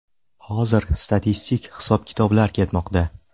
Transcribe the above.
Hozir statistik hisob-kitoblar ketmoqda.